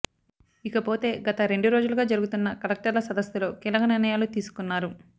ఇకపోతే గత రెండు రోజులుగా జరుగుతున్న కలెక్టర్ల సదస్సులో కీలక నిర్ణయాలు తీసుకున్నారు